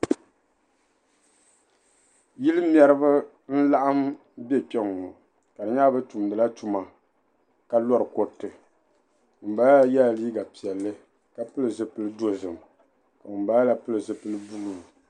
Yili mɛri n-laɣim be kpe ŋɔ ka di nyɛla be tumdi la tuma ka yɔri kuriti ŋun bala la yela liiga piɛlli ka pili zipil'dozim ka ŋun bala la pili zipil' "blue".